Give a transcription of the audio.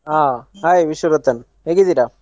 ಹಾ Hai ವಿಶ್ವರತನ್ ಹೇಗಿದ್ದೀರ?